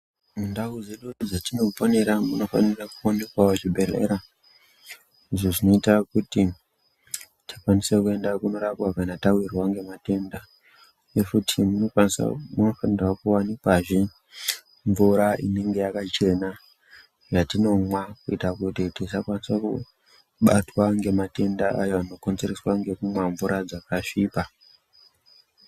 Mundau dzedu dzatinoponera munofanikawo kuoneka zvibhedhlera izvo zvinoita kuti tikwanise kundorapwa kana tawirwa nematenda nekuti munofanika kuwanikwa he mvura inenge yakachena yatinomwa kuitira kuti tisakasika kubatwa nematenda aya anokonzereswa nekumwa mvura dzakasvipa.